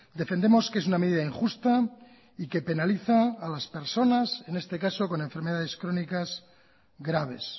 defendemos que es una medida injusta y que penaliza a las personas en este caso con enfermedades crónicas graves